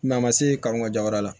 a ma se ka n ka ja wɛrɛ la